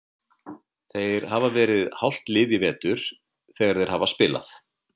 Þeir hafa verið hálft lið í vetur þegar þeir hafa spilað.